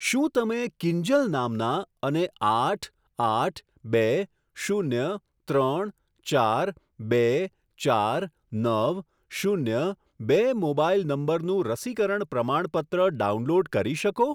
શું તમે કિંજલ નામના અને આઠ આઠ બે શૂન્ય ત્રણ ચાર બે ચાર નવ શૂન્ય બે મોબાઈલ નંબરનું રસીકરણ પ્રમાણપત્ર ડાઉનલોડ કરી શકો?